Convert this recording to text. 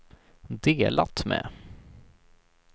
delat med